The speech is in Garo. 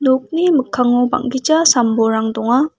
nokni mikkango bang·gija sam-bolrang donga.